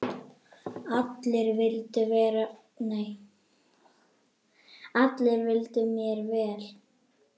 Allir vildu mér vel.